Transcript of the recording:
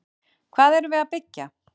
Hvað erum við að byggja?